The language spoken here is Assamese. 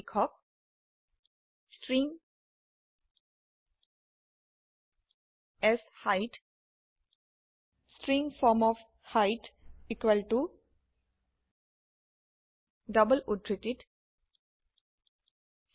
লিখক string set string form of height equal to double উদ্ধৃতিত 6